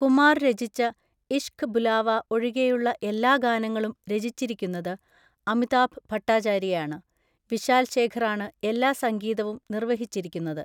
കുമാർ രചിച്ച ഇശ്ഖ് ബുലാവ ഒഴികെയുള്ള എല്ലാ ഗാനങ്ങളും രചിച്ചിരിക്കുന്നത് അമിതാഭ് ഭട്ടാചാര്യയാണ്; വിശാൽ ശേഖറാണ് എല്ലാ സംഗീതവും നിർവഹിച്ചിരിക്കുന്നത്.